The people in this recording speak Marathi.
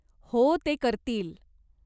हो, ते करतील.